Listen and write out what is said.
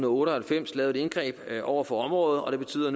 otte og halvfems lavede et indgreb over for området og det betyder